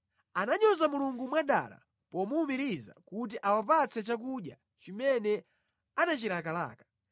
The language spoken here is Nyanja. Ananyoza Mulungu mwadala pomuwumiriza kuti awapatse chakudya chimene anachilakalaka.